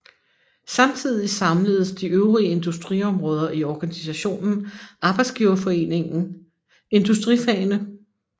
Samtidig samledes de øvrige industriområder i organisationen Arbejdsgiverforeningen Industrifagene